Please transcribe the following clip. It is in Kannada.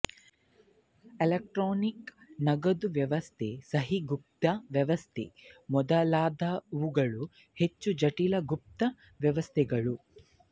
ಎಲೆಕ್ಟ್ರಾನಿಕ್ ನಗದು ವ್ಯವಸ್ಥೆ ಸಹಿಗೌಪ್ಯತಾ ವ್ಯವಸ್ಥೆ ಮೊದಲಾದವುಗಳು ಹೆಚ್ಚು ಜಟಿಲ ಗುಪ್ತ ವ್ಯವಸ್ಥೆಗಳು